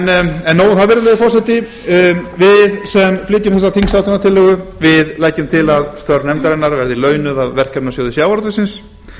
nóg um það virðulegi forseti við sem flytjum þessa þingsályktunartillögu leggjum til að störf nefndarinnar verði launuð af verkefnasjóði sjávarútvegsins